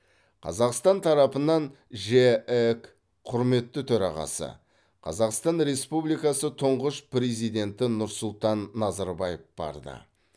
қазақстан тарапынан жеэк құрметті төрағасы қазақстан республикасы тұңғыш президенті нұрсұлтан назарбаев барды